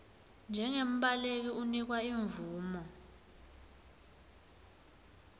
njengembaleki unikwa imvumo